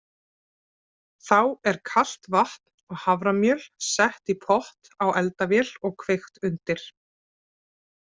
Þá er kalt vatn og haframjöl sett í pott á eldavél og kveikt undir.